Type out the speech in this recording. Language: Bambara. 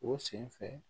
O sen fɛ